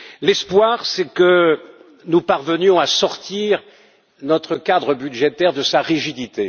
L'espoir, c'est que nous parvenions à sortir notre cadre budgétaire de sa rigidité.